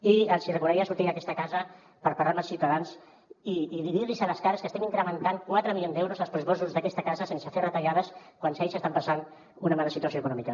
i els hi recomanaria sortir d’aquesta casa per parlar amb els ciutadans i dir los a les cares que estem incrementant quatre milions d’euros els pressupostos d’aquesta casa sense fer retallades quan ells estan passant una mala situació econòmica